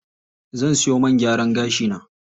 Zan siyo man gyaran gashi na.